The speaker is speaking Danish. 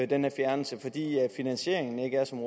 den her fjernelse fordi finansieringen ikke er som